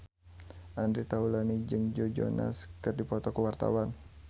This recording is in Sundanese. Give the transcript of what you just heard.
Andre Taulany jeung Joe Jonas keur dipoto ku wartawan